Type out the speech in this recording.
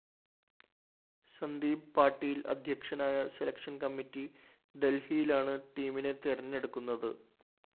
സന്ദീപ് പാട്ടീല്‍ അധ്യക്ഷനായ selection committee ദല്‍ഹിയിലാണ് ടീമിനെ തെരഞ്ഞെടുക്കുന്നത്